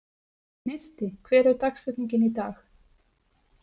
Gneisti, hver er dagsetningin í dag?